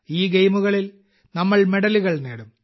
ഈ ഗെയിമുകളിൽ നമ്മൾ മെഡലുകൾ നേടും